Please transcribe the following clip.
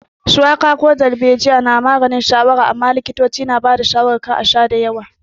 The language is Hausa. Shuwaka ko darbejiya na maganin shawara amma likitoci na ba da shawarar a sha da yawa.